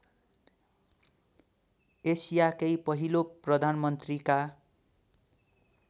एसियाकै पहिलो प्रधानमन्त्रीका